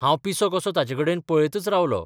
हांव पिसों कसों ताचेकडेन पळयतच रावलों.